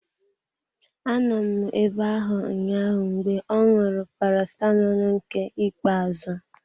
Anọ m abe ahụ ụnyaahụ mgbe ọ ṅụrụ Paracetamọl nke ikpe azụ.